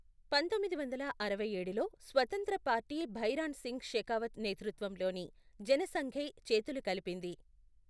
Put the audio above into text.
పంతొమ్మిది వందల అరవై ఏడులో స్వతంత్ర పార్టీ భైరాన్ సింగ్ షెకావత్ నేతృత్వంలోని జనసంఘ్తో చేతులు కలిపింది.